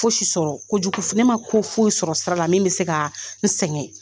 Fosi sɔrɔ kojugu f ne ma ko foyi sɔrɔ sira la min be se kaa n sɛŋɛ.